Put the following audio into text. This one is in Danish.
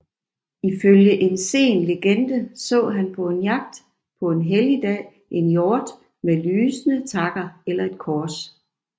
Ifølge en sen legende så han på en jagt på en helligdag en hjort med lysende takker eller et kors